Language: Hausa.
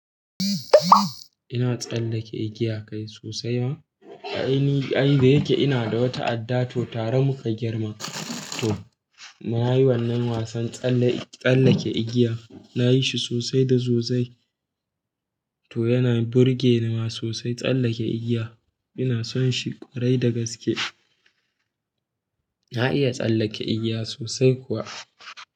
Ina tsallake igiya kai sosai ma? A ni ai, da yake ina da wata adda to tare muka girma. To nayi wannan wasan tsalle tsallake igiya nayi shi sosai da sosai. To yana burge ni ma sosai tsallake igiya. Ina son shi kwarai da gaske. Na iya tsallake igiya sosai kuwa.